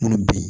Munnu be yen